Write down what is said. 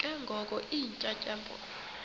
ke ngoko iintyatyambo